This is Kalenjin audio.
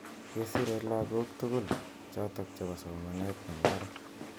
Kesirei lakoko tugul chotok che bo somanet nebo barak.